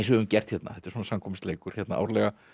við höfum gert þetta er svona samkvæmisleikur hérna árlega